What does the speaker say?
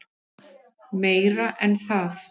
Meira en það.